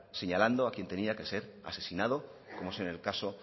señalando al que tenía que ser asesinado como es en el caso